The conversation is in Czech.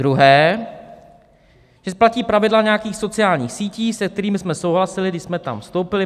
Druhý, že platí pravidla nějakých sociálních sítí, se kterými jsme souhlasili, když jsme tam vstoupili.